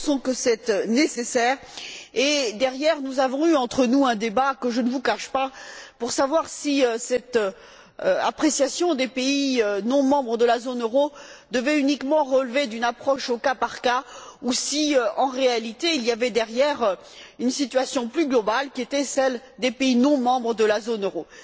Nous pensons que c'est nécessaire et, derrière, nous avons eu entre nous un débat, que je ne vous cache pas, pour savoir si cette appréciation des pays non membres de la zone euro devait uniquement relever d'une approche au cas par cas ou si, en réalité, il y avait au fond une situation plus globale qui était celle des pays non membres de la zone euro.